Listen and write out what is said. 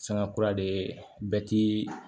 Sanga kura de bɛ ti